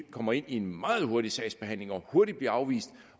kommer ind i en meget hurtig sagsbehandling og hurtigt bliver afvist